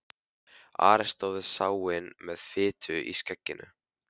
Ari stóð við sáinn með fitu í skegginu.